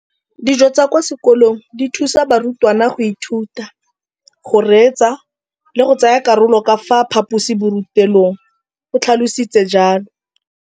Dijo tsa kwa sekolong dithusa barutwana go ithuta, go reetsa le go tsaya karolo ka fa phaposiborutelong, o tlhalositse jalo.